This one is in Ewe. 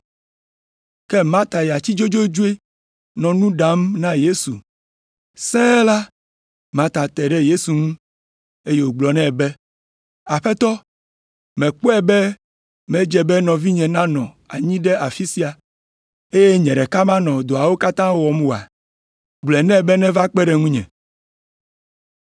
Ke Marta ya tsi dzodzodzoe nɔ nu ɖam na Yesu. Sẽe la, Marta te ɖe Yesu ŋu, eye wògblɔ nɛ be, “Aƒetɔ mèkpɔe be medze be nɔvinye nanɔ anyi ɖe afi sia, eye nye ɖeka manɔ dɔawo katã wɔm oa? Gblɔ nɛ be neva kpe ɖe ŋunye.”